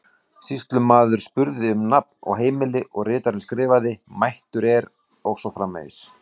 Sýslumaður spurði um nafn og heimili og ritarinn skrifaði: mættur er og svo framvegis.